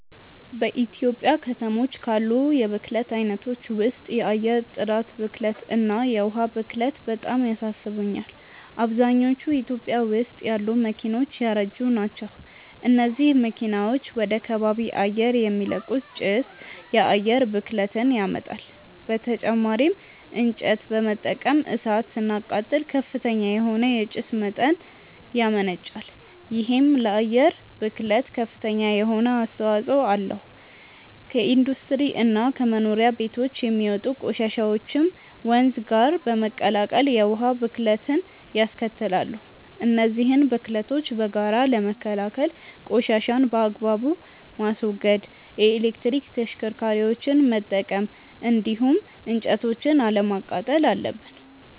በኢትዮጵያ ከተሞች ካሉ የብክለት አይነቶች ውስጥ የአየር ጥራት ብክለት እና የዉሃ ብክለት በጣም ያሳስቡኛል። አብዛኞቹ ኢትዮጵያ ውስጥ ያሉ መኪናዎች ያረጁ ናቸው። እነዚህ መኪናዎች ወደ ከባቢ አየር የሚለቁት ጭስ የአየር ብክለትን ያመጣል። በተጨማሪም እንጨት በመጠቀም እሳት ስናቃጥል ከፍተኛ የሆነ የጭስ መጠን ያመነጫል። ይሄም ለአየር ብክለት ከፍተኛ የሆነ አስተዋጽኦ አለው። ከኢንዱስትሪ እና ከመኖሪያ ቤቶች የሚወጡ ቆሻሻዎችም ወንዝ ጋር በመቀላቀል የውሃ ብክለትንያስከትላሉ። እነዚህን ብክለቶች በጋራ ለመከላከል ቆሻሻን በአግባቡ ማስወገድ፣ የኤሌክትሪክ ተሽከርካሪዎችን መጠቀም እንዲሁም እንጨቶችን አለማቃጠል አለብን።